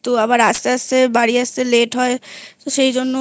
আবার আস্তে আস্তে বাড়ি আসতে Late হয় তো সেই জন্য